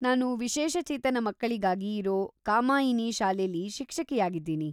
ನಾನು ವಿಶೇಷ ಚೇತನ ಮಕ್ಕಳಿಗಾಗಿ ಇರೋ ಕಾಮಾಯಿನಿ ಶಾಲೆಲಿ ಶಿಕ್ಷಕಿಯಾಗಿದ್ದೀನಿ.